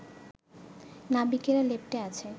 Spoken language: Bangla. নাবিকেরা লেপ্টে আছে